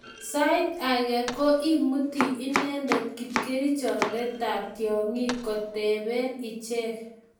eng' sait age ko imutu inendet kipkerichondetab tyong'ik kotoben ichek